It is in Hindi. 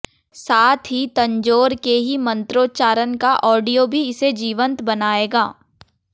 साथ ही तंजौर के ही मंत्रोच्चारण का ऑडियो भी इसे जीवंत बनाएगा